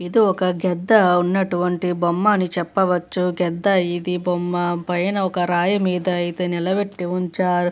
ఇది ఒక గద్ద ఉన్నటువంటి బొమ్మ అని చెప్పవచ్చు గద్ద ఇది బొమ్మ పైన ఒక రాయి మీద ఐతే నిలబెట్టి ఉంచారు.